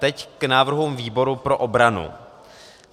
Teď k návrhům výboru pro obranu.